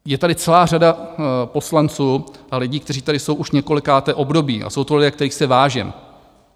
Je tady celá řada poslanců a lidí, kteří tady jsou už několikáté období, a jsou to lidé, kterých si vážím.